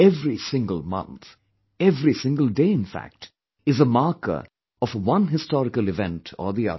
Every single month, every single day in fact, is a marker of one historical event or the other